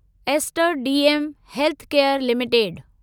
ester DM Healthcare limited